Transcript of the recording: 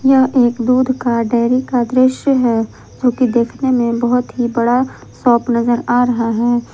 यह एक दूध का डेयरी का दृश्य है जो की देखने में बहुत ही बड़ा शॉप नजर आ रहा है।